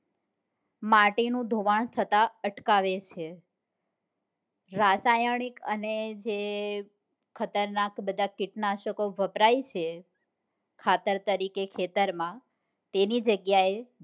માટી નું ધોવાણ થતા અટકાવે છે રાસાયણિક અને જે ખતરનાક બધા કીટનાસકો વપરાય છે ખાતર તરીકે ખેતર માં તેની જગ્યા એ